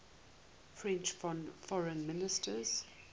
french foreign minister